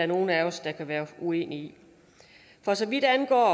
nogen af os kan være uenige i for så vidt angår